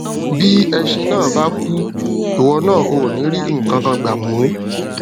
bí ẹṣin náà bá kú ìwọ náà ò ní rí nǹkan kan gbà mó